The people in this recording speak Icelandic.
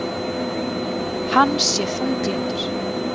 Hann sé þunglyndur